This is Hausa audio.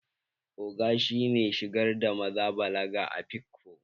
Ogo shi ne shigar da maza balaga a afikpo